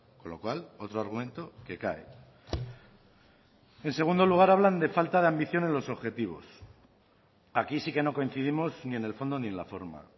con lo cual otro argumento que cae en segundo lugar hablan de falta de ambición en los objetivos aquí sí que no coincidimos ni en el fondo ni en la forma